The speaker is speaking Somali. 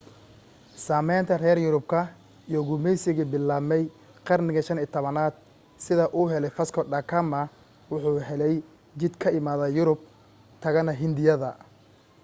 saamaynta reer yurubka iyo gumaysigii bilaambay qarnigii 15 aad sida uu helay vasco da gama wuxuu helay jid ka imada yurub tagana hindiya